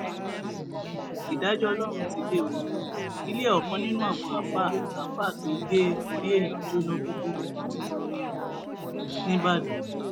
ìdájọ ọlọrun ti dé ọ ilẹ ọkàn nínú àwọn àáfàá àáfàá tó gé orí èèyàn jóná gbúgbúrú ńìbàdàn